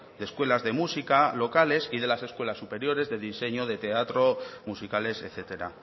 de escuelas de música locales y de las escuelas superiores de diseño de teatro musicales etcétera